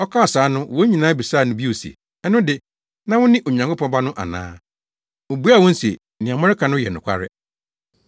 Ɔkaa saa no wɔn nyinaa bisaa no bio se, “Ɛno de, na wone Onyankopɔn Ba no ana?” Obuaa wɔn se, “Nea moreka no yɛ nokware.”